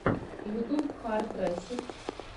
ютьюб хард ресэт